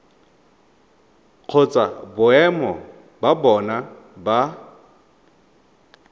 kgotsa boemo ba bona ba